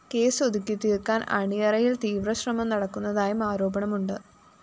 case ഒതുക്കിതീര്‍ക്കാന്‍ അണിയറിയില്‍ തീവ്രശ്രമം നടക്കുന്നതായും ആരോപണമുണ്ട്